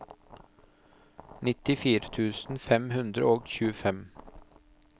nittifire tusen fem hundre og tjuefem